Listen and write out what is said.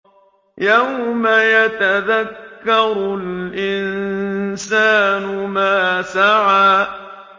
يَوْمَ يَتَذَكَّرُ الْإِنسَانُ مَا سَعَىٰ